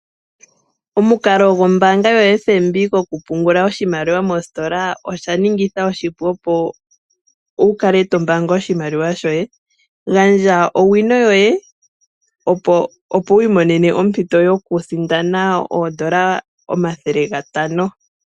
Omukalo gwombaanga yoFNB, kokupungula oshimaliwa moositola osha ningatha oshipu opo wukale tombaanga oshimaliwa shoye. Gandja owino yoye, opo wu imonene ompito yokusindana oondola omathele gatano.